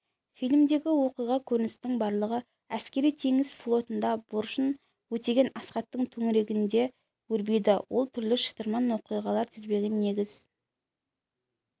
фильмдегі оқиға-көріністің барлығы әскери-теңіз флотында борышын өтеген асхаттың төңірегінде өрбиді ол түрлі шытырман оқиғалар тізбегіне негіз